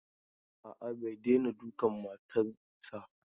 A'a, bai daina dukan matan sa.